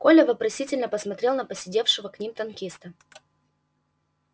коля вопросительно посмотрел на посидевшего к ним танкиста